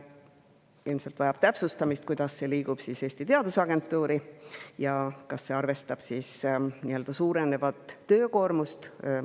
Ilmselt vajab täpsustamist, kuidas see liigub Eesti Teadusagentuuri ja kas arvestatakse suurenevat töökoormust.